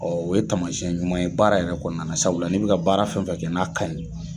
o ye tamasiyɛn ɲuman ye baara yɛrɛ kɔnɔna na, sabula n'i bɛ ka baara fɛn fɛ kɛ n'a kaɲi.